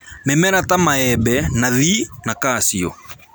Mĩmera ta maembe, nathii na kaciũ